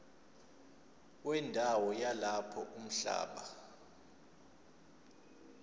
wendawo yalapho umhlaba